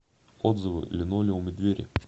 отзывы линолеум и двери